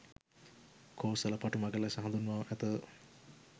කෝසල පටුමග ලෙස හඳුන්වා ඇත